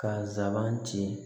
Ka nsaban ci